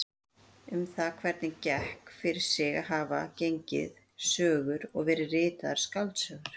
Um það hvernig þetta gekk fyrir sig hafa gengið sögur og verið ritaðar skáldsögur.